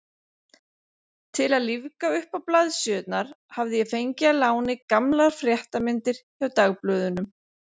Til að lífga uppá blaðsíðurnar hafði ég fengið að láni gamlar fréttamyndir hjá dagblöðunum.